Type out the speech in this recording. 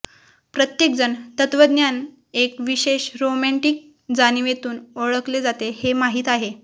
प्रत्येकजण तत्वज्ञान एक विशेष रोमँटिक जाणिवेतून ओळखले जाते हे माहीत आहे